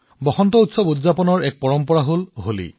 হোলীকো বসন্তৰ উৎসৱ হিচাপে উদযাপন কৰাৰ এক পৰম্পৰা আছে